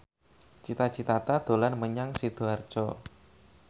Cita Citata dolan menyang Sidoarjo